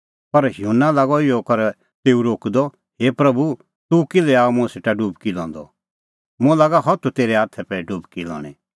पर युहन्ना लागअ इहअ करै तेऊ रोकदअ हे प्रभू तूह किल्है आअ मुंह सेटा डुबकी लंदअ मुंह लागा हथू तेरै हाथै पै डुबकी लणी